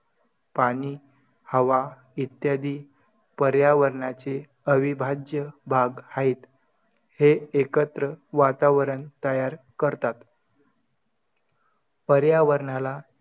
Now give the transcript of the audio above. आता म मुलगी